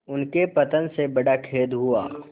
उनके पतन से बड़ा खेद हुआ